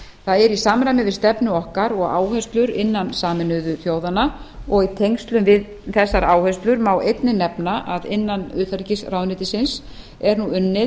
það er í samræmi við stefnu okkar og áherslur innan sameinuðu þjóðanna og í tengslum við þessar áherslur má einnig nefna að innan utanríkisráðuneytisins er nú unnið